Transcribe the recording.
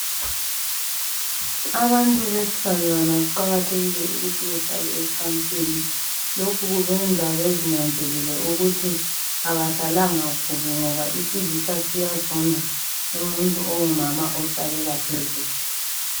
Abantu besifazana kuqakathekile ukuthi bahlale encansini. Lokhu kubenza bezinanzelele ukuthi abahlalanga kubi ngoba isilisa siyazonda umuntu ongumama ohlalela phezulu.